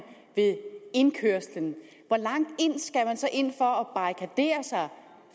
ved indkørslen hvor langt skal man så ind